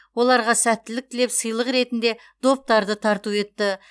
оларға сәттілік тілеп сыйлық ретінде доптарды тарту етті